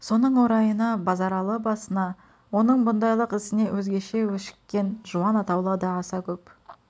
соның орайына базаралы басына оның бұндайлық ісіне өзгеше өшіккен жуан атаулы да аса көп